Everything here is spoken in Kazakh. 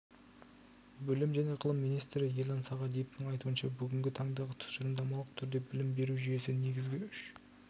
білім және ғылым министрі ерлан сағадиевтің айтуынша бүгінгі таңда тұжырымдамалық түрде білім беру жүйесі негізгі үш